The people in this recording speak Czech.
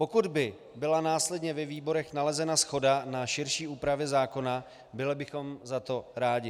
Pokud by byla následně ve výborech nalezena shoda na širší úpravě zákona, byli bychom za to rádi.